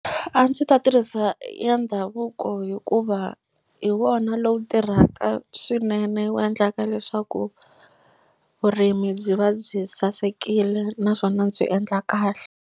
A ndzi ta tirhisa ya ndhavuko hikuva hi wona lowu tirhaka swinene wu endlaka leswaku vurimi byi va byi sasekile naswona byi endla kahle.